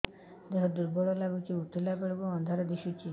ଦେହ ଦୁର୍ବଳ ଲାଗୁଛି ଉଠିଲା ବେଳକୁ ଅନ୍ଧାର ଦିଶୁଚି